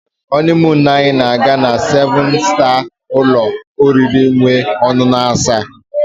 honeymoon anyị na-aga na-na seven star ụlọ oriri nwee ọṅụṅụ asa.